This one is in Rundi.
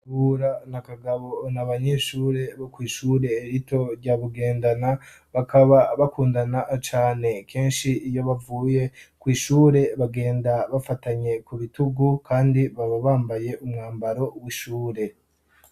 Kabura na Kagabo ni abanyeshure bo kw'ishure rito rya Bugendana bakaba bakundana cane kenshi iyo bavuye kw'ishure bagenda bafatanye ku bitugu kandi baba bambaye umwambaro w'ishure.